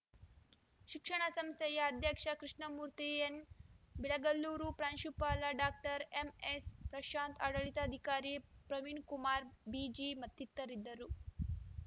ಶಿಕ್ಷಣ ಸಂಸ್ಥೆಯ ಅಧ್ಯಕ್ಷ ಕೃಷ್ಣಮೂರ್ತಿ ಎನ್‌ ಬಿಳ್ಗಲ್ಲೂರು ಪ್ರಾಂಶುಪಾಲ ಡಾಕ್ಟರ್ ಎಂಎಸ್‌ಪ್ರಶಾಂತ್‌ ಆಡಳಿತಾಧಿಕಾರಿ ಪ್ರವೀಣ್‌ಕುಮಾರ್ ಬಿಜಿ ಮತ್ತಿತರರಿದ್ದರು